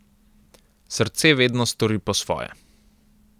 Srce vedno stori po svoje.